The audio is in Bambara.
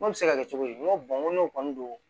N'o bɛ se ka kɛ cogo di n ko n ko n'o kɔni don